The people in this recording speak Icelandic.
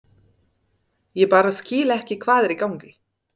Ég bara skil ekki hvað er í gangi.